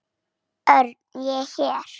Örn, ég er hér